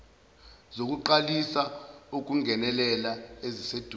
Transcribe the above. zokuqalisa ukungenelela eziseduze